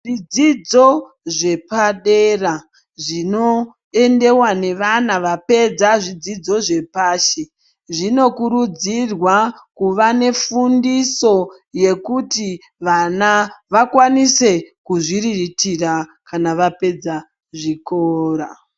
Zvidzidzo zvepadera zvinoendeva nevana vapedza zvidzidzo zvepashi. Zvinokurudzirwa kuva nefundiso yekuti vana vakwanise kuzviriritira kana vapedza zvikora.